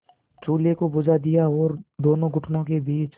चूल्हे को बुझा दिया और दोनों घुटनों के बीच